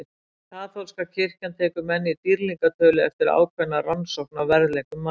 Kaþólska kirkjan tekur menn í dýrlingatölu eftir ákveðna rannsókn á verðleikum manna.